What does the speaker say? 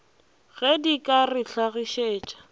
ge di ka re hlagišetša